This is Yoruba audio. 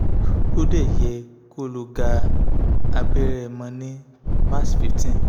o de ye ko lo ga abere mo ni march fifteen